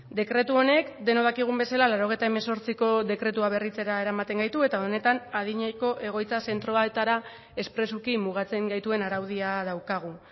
dekretu honek denok dakigun bezala laurogeita hemezortziko dekretua berritzera eramaten gaitu eta honetan adineko egoitza zentroetara espresuki mugatzen gaituen araudia daukagu